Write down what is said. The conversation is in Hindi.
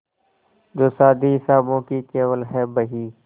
जो शादी हिसाबों की केवल है बही